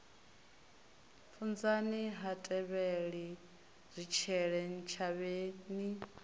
funzani ha tevheli zwitshele ntshavheni